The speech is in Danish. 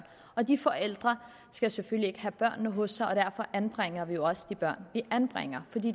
og de forældre skal selvfølgelig ikke have børnene hos sig og derfor anbringer vi jo også de børn vi anbringer fordi